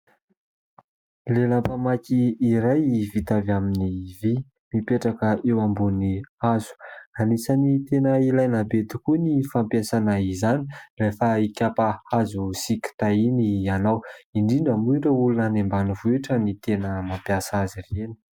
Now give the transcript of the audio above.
Lelam-pamaky iray vita avy amin'ny vy mipetraka eo ambony hazo. Anisany tena ilaina be tokoa ny fampiasana izany rehefa hikapa hazo sy kitay iny ianao, indrindra moa ireo olona any ambanivohitra no tena mampiasa azy ireny.